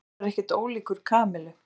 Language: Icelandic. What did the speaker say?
Arnar var ekkert ólíkur Kamillu.